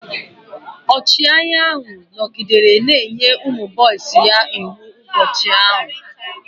Ọchịagha ahụ nọgidere na-enye ụmụ boisi ya iwu ụbọchị ahụ.